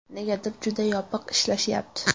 Negadir juda yopiq ishlashyapti.